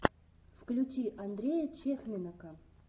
включи андрея чехменока